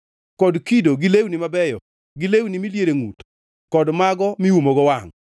kod kio, gi lewni mabeyo gi lewni miliero e ngʼut kod mago miumogo wangʼ.